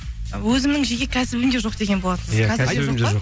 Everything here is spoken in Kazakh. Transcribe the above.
өзімнің жеке кәсібім де жоқ деген болатынсыз